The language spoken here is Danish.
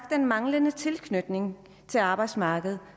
den manglende tilknytning til arbejdsmarkedet